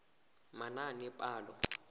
manaanepalo